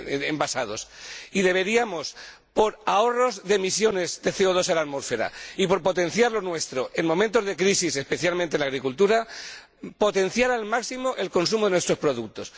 envasados, y deberíamos, por ahorros de emisiones de CO 2 a la atmósfera y por potenciar lo nuestro en momentos de crisis, especialmente en la agricultura, potenciar al máximo el consumo de nuestros productos.